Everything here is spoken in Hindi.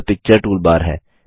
यह पिक्चर टूलबार है